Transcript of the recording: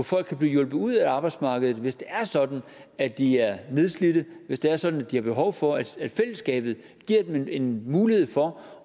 folk kan blive hjulpet ud af arbejdsmarkedet hvis det er sådan at de er nedslidte hvis det er sådan at de har behov for at fællesskabet giver dem en mulighed for